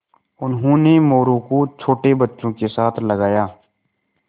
उन्होंने मोरू को छोटे बच्चों के साथ लगाया